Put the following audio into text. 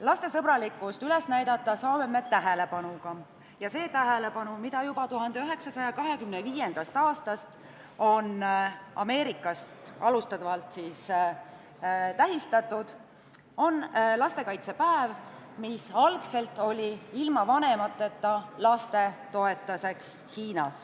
Lastesõbralikkust saame üles näidata tähelepanuga ja see tähelepanu on lastekaitsepäev, mida juba 1925. aastast on Ameerika Ühendriikide algatusel tähistatud ja mis oli algselt pühendatud ilma vanemateta Hiina laste toetuseks.